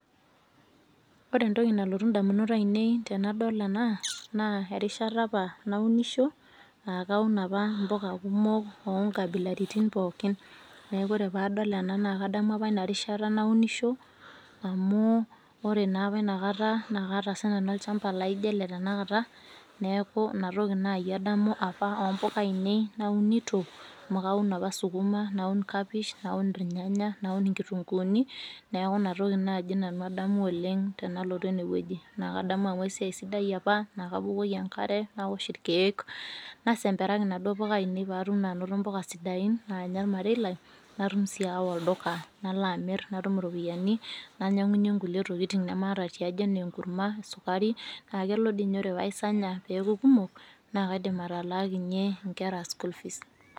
Ore entoki nalotu indamunot ainei tenadol ena naa erishata apa naunisho, aah kaun apa mpoka kumok oonkabilaritin pooki. Neaku ore paadol ena naa kadamu apa inarishata naunisho amuu ore naapa inakata nakaata sinanu olchamba laaijo ele tenakata neaku inatoki nayi adamu apa oompoka ainei naunito amu kaun apa sukuma, naun kapish, naun ilnyanya, naun inkitunguuni neaku inatoki naji nanu adamu oleng' tenalotu enewueji naakadamu amu esiai sidai apa naakapukoki enkare naosh irkeek, nasemperaki naduo poka ainei paatum naanoto mpoka sidain naanya olmarei lai natum sii aawa olduka naloamirr natum iropiyani nainyang'unye nkulie tokitin nemaata tiaji anaa enkurma, esukari, naakelo diinye ore paaisanya peeku kumok naakaidim atalaakinye nkera school fees.